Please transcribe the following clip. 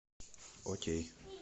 окей